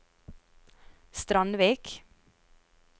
Strandvik